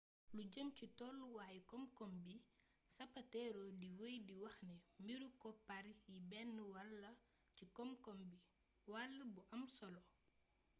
lu jeem ci tolluwayu komkom bi zapatero di weey di waxni mbiru koppar yi bénn wall la ci komkom bi wall bu amsolo